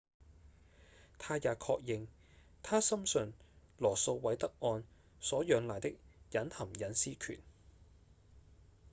他也確認他深信羅訴韋德案所仰賴的隱含隱私權